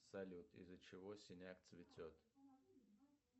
салют из за чего синяк цветет